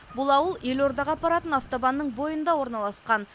бұл ауыл елордаға апаратын автобанның бойында орналасқан